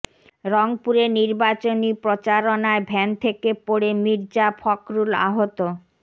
রংপুরের নির্বাচনী প্রচারণায় ভ্যান থেকে পড়ে মির্জা ফখরুল আহত